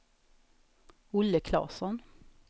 Olle Klasson